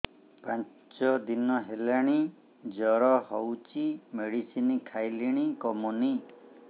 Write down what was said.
ପାଞ୍ଚ ଦିନ ହେଲାଣି ଜର ହଉଚି ମେଡିସିନ ଖାଇଲିଣି କମୁନି